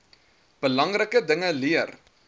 belangrike dinge leer